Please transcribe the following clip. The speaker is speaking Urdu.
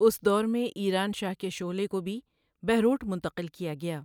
اس دور میں 'ایران شاہ کے شعلے' کو بھی بہروٹ منتقل کیا گیا۔